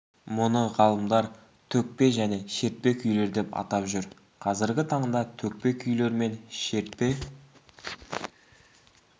мұны ғалымдар төкпе және шертпе күйлер деп атап жүр қазіргі таңда төкпе күйлер мен шертпе